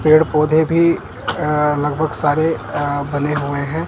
पेड़ पौधे भी अअ लगभग सारे अअ बने हुए हैं।